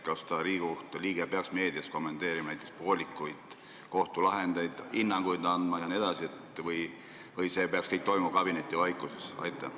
Kas Riigikohtu liige peaks meedias kommenteerima näiteks poolikuid kohtulahendeid, hinnanguid andma jne või peaks see kõik toimuma kabinetivaikuses?